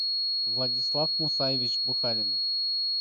владислав мусаевич бухаринов